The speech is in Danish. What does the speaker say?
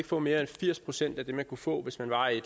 få mere end firs procent af det man kunne få hvis man var i